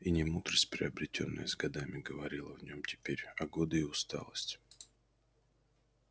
и не мудрость приобретённая с годами говорила в нём теперь а годы и усталость